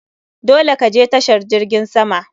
Dole ka je tashar jirgin sama!